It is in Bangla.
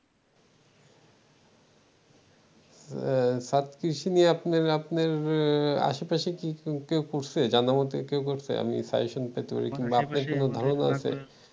ছাদ কৃষি নিয়ে আপ্নের আপ্নের আশেপাশের কেউ কি করছে জানামতে কেউ করছে আমি suggestion পেতে পারি কিংবা আপনার কোন ধারোনা আছে